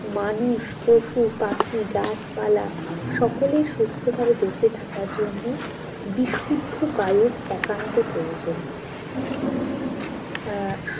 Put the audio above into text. মানুষ পশুপাখি গাছ পালা সকলের সুস্থ ভাবে বেঁচে থাকার জন্য বিশুদ্ধ বায়ুর একান্ত প্রয়োজন আহ